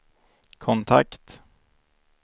kontakt